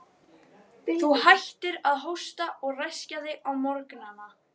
Þú hættir að hósta og ræskja þig á morgnana.